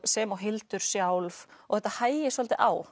sem og Hildur sjálf og þetta hægir svolítið á